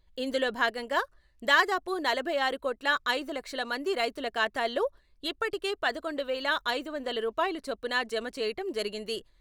ఇందులో భాగంగా దాదాపు నలభై ఆరు కోట్ల ఐదు లక్షల మంది రైతుల ఖాతాల్లో ఇప్పటికే పదకొండు వేల ఐదు వందల రూపాయల చొప్పున జమ చెయ్యటం జరిగింది..